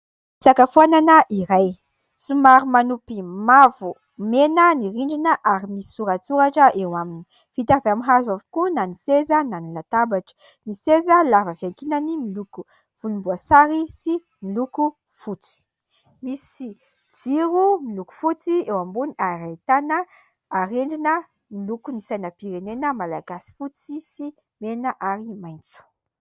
Fisakafoanana iray : somary manopy mavo mena ny rindrina ary misy soratsoratra eo aminy, vita avy amin'ny hazo avokoa na ny seza na ny latabatra, ny seza lava fiankinany miloko volomboasary sy miloko fotsy, misy jiro miloko fotsy eo ambony ary ahitana arendrina miloko ny sainam-pirenena malagasy fotsy sy mena ary maitso.